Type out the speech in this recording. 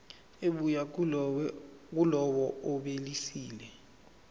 ebuya kulowo obhalisile